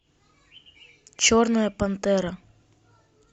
черная пантера